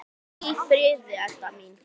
Hvíldu í friði, Edda mín.